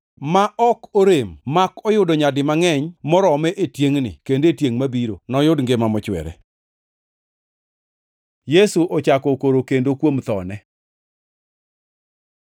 ma ok norem mak oyudo nyadi mangʼeny marome e tiengʼni kendo e tiengʼ mabiro, noyud ngima mochwere.” Yesu ochako okoro kendo kuom thone